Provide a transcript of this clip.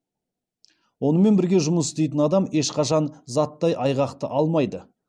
онымен бірге жұмыс істейтін адам ешқашан заттай айғақты алмайды